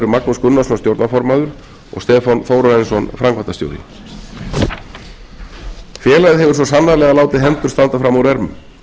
magnús gunnarsson stjórnarformaður og stefán þórarinsson framkvæmdastjóri félagið hefur svo sannarlega látið hendur standa fram úr ermum